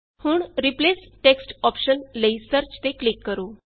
ਹੁਣ replace text option ਲਈ search ਤੇ ਕਲਿਕ ਕਰੋ